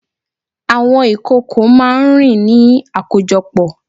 Àwọn ìkòkò máá ń rìn ní àkójọpọ̀